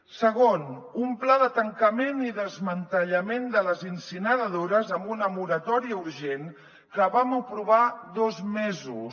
segon un pla de tancament i desmantellament de les incineradores amb una moratòria urgent que vam aprovar dos mesos